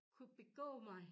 Kunne begå mig